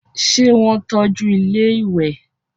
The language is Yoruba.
ṣé wọ́n tọ́ju ilẹ́ ìwẹ̀?